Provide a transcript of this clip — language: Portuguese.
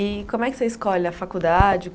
E como é que você escolhe a faculdade?